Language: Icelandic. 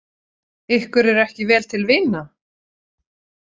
Ykkur er ekki vel til vina?